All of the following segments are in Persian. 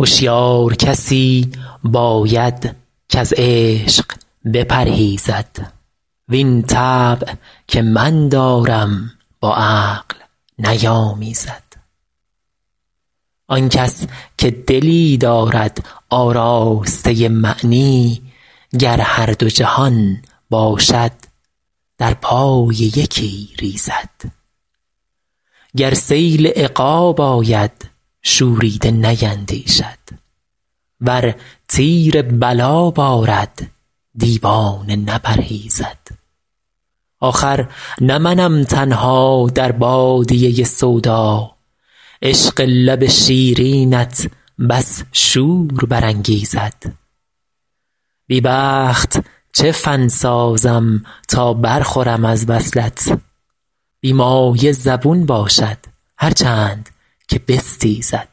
هشیار کسی باید کز عشق بپرهیزد وین طبع که من دارم با عقل نیامیزد آن کس که دلی دارد آراسته معنی گر هر دو جهان باشد در پای یکی ریزد گر سیل عقاب آید شوریده نیندیشد ور تیر بلا بارد دیوانه نپرهیزد آخر نه منم تنها در بادیه سودا عشق لب شیرینت بس شور برانگیزد بی بخت چه فن سازم تا برخورم از وصلت بی مایه زبون باشد هر چند که بستیزد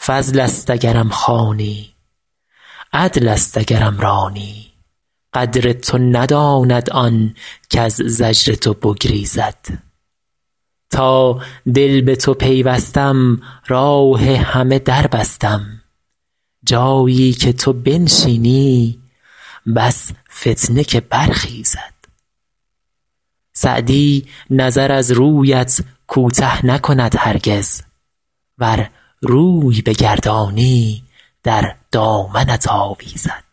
فضل است اگرم خوانی عدل است اگرم رانی قدر تو نداند آن کز زجر تو بگریزد تا دل به تو پیوستم راه همه در بستم جایی که تو بنشینی بس فتنه که برخیزد سعدی نظر از رویت کوته نکند هرگز ور روی بگردانی در دامنت آویزد